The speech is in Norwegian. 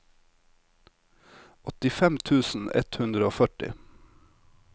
åttifem tusen ett hundre og førti